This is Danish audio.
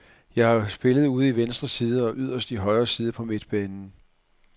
Jeg har spillet ude i venstre side og yderst i højre side på midtbanen.